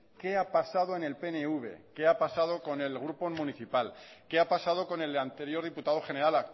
qué ha pasado en el pnv qué ha pasado con el grupo municipal qué ha pasado con el anterior diputado general